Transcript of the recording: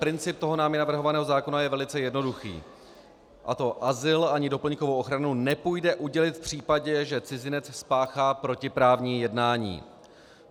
Princip toho námi navrhovaného zákona je velice jednoduchý, a to: azyl ani doplňkovou ochranu nepůjde udělit v případě, že cizinec spáchá protiprávní jednání.